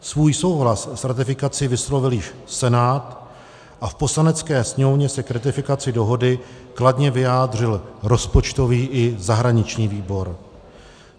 Svůj souhlas s ratifikací vyslovil již Senát a v Poslanecké sněmovně se k ratifikaci dohody kladně vyjádřil rozpočtový i zahraniční výbor.